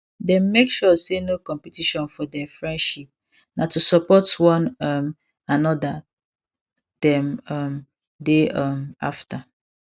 dey make sure say no competition for der friendship na to support one um another them um dey um after